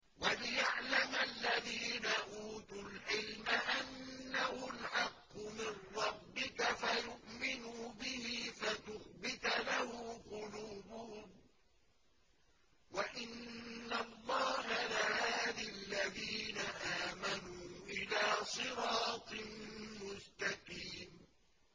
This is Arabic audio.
وَلِيَعْلَمَ الَّذِينَ أُوتُوا الْعِلْمَ أَنَّهُ الْحَقُّ مِن رَّبِّكَ فَيُؤْمِنُوا بِهِ فَتُخْبِتَ لَهُ قُلُوبُهُمْ ۗ وَإِنَّ اللَّهَ لَهَادِ الَّذِينَ آمَنُوا إِلَىٰ صِرَاطٍ مُّسْتَقِيمٍ